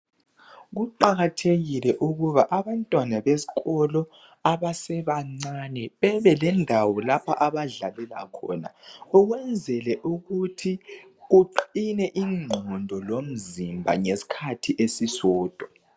Kuqakathekile ukuba abantwana besikolo abasebancane babelendawo lapho abadlalela khona ukwenzela ukuthi kuqine ingqondo lomzimba ngesikhathi esisodwa.